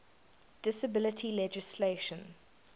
disability legislation